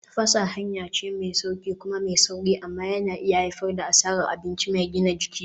Tafasa hanya ce mai sauƙi kuma mai sauri amma yana iya haifar da asarar abinci mai gina jiki.